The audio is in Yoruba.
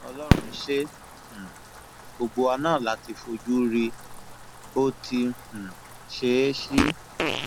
ọlọrun ṣe é um gbogbo wa náà la ti fojú rí i bó ti um ṣe é sí